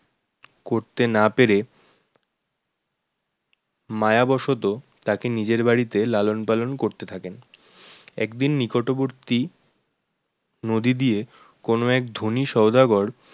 করতে না পেরে মায়াবশত তাকে নিজের বাড়িতে লালন-পালন করতে থাকেন একদিন নিকটবর্তী নদী দিয়ে কোন এক ধনী সওদাগর